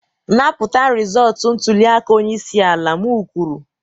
napụta rịzọlt ntuliaka onye isi ala m kwuru!